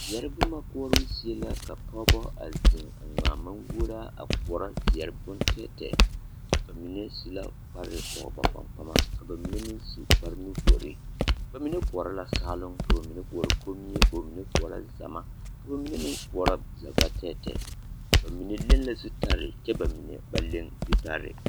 Zeɛre boma koɔro zie la ka nobɔ a ŋmaa maŋguoraa koɔ zeɛre bontɛɛtɛɛ ba mine su la kparre pɔge ba kpaŋkpama ka ba mine meŋ su kparrenuvori ba mine koɔrɔ la saaloŋ ka mine koɔrɔ komie ka mine koɔrɔ zama ka ba mine meŋ koɔrɔ zɛvatɛɛtɛɛ ba mine leŋ la zutarii kyɛ ba mine ba leŋ zutarii.